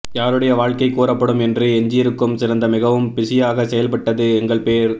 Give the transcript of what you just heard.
யாருடைய வாழ்க்கை கூறப்படும் என்று எஞ்சியிருக்கும் சிறந்த மிகவும் பிஸியாக செய்யப்பட்டது எங்கள் பேர்